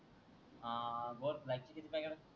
हाआ ग्लोबक